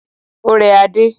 Ó rẹ Adé.